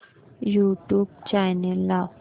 YouTube channel लाव